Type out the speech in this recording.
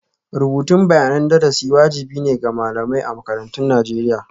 Rubutun bayanan darasi wajibi ne ga malamai a makarantun Najeriya.